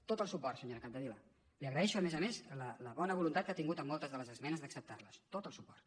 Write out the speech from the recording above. tot el suport senyora capdevila li agraeixo a més a més la bona voluntat que ha tingut amb moltes de les esmenes d’acceptarles tot el suport